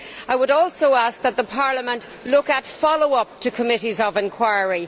I would also ask that the Parliament look at follow up to Committees of Inquiry.